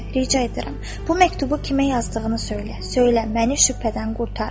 Rica edirəm, bu məktubu kimə yazdığını söylə, söylə məni şübhədən qurtar.